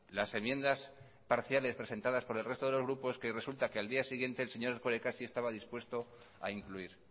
las enmiendas parciales presentadas por el resto de los grupos que resulta que al día siguiente el señor erkoreka sí estaba dispuesto a incluir